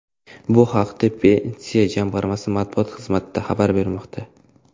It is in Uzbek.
Bu haqda Pensiya jamg‘armasi matbuot xizmati xabar bermoqda .